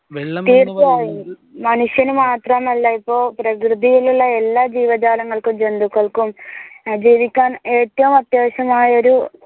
തീർച്ചയായും മനുഷ്യന് മാത്രമല്ല ഇപ്പൊ പ്രകൃതിലുള്ള എല്ലാ ജീവജാലങ്ങൾക്കും ജന്തുക്കൾക്കും ഏർ ജീവിക്കാൻ ഏറ്റവും അത്യാവിശ്യമായ ഒരു